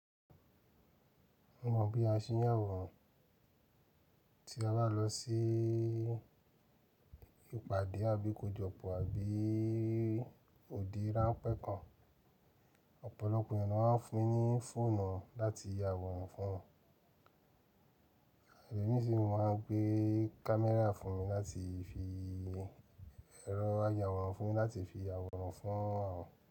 Mo mọ̀ bí a ṣe ń ya àwòrán, tí a bá lọ sí ìpàdé àbí ikojọpọ àbí ode ránpẹ́ kan, ọ̀pọ̀lọpọ̀ ènìyàn máa ń fún mi ní fóònù wọ́n láti ya àwòrán fún wọn, Ẹ̀lo mi si máa ń gbé kámirà fún mi láti fi, ẹrọ ayàwòrán fún mi láti fi ya àwòrán fún àwọn.